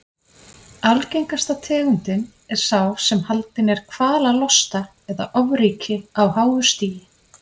Algengasta tegundin er sá sem haldinn er kvalalosta eða ofríki á háu stigi.